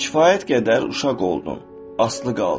Kifayət qədər uşaq oldun, asılı qaldın.